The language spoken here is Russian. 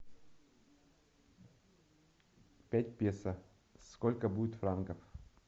пять песо сколько будет франков